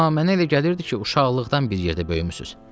Amma mənə elə gəlirdi ki, uşaqlıqdan bir yerdə böyümüsüz.